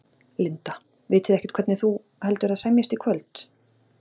Linda: Vitið þið ekkert hvernig þú, heldurðu að semjist í kvöld?